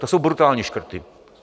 To jsou brutální škrty.